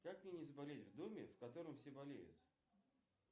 как мне не заболеть в доме в котором все болеют